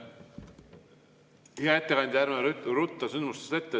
Hea ettekandja, ärme ruttame sündmustest ette.